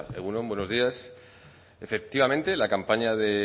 egun on buenos días efectivamente la campaña de